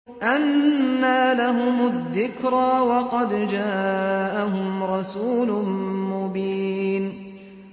أَنَّىٰ لَهُمُ الذِّكْرَىٰ وَقَدْ جَاءَهُمْ رَسُولٌ مُّبِينٌ